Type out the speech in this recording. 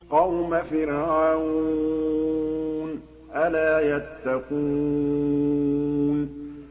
قَوْمَ فِرْعَوْنَ ۚ أَلَا يَتَّقُونَ